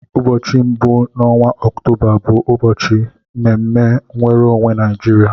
Ụbọchị mbụ n'ọnwa Ọktoba bụ ụbọchị mme mme nwere onwe Naijiria.